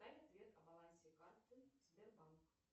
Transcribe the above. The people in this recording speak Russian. дай ответ о балансе карты сбербанк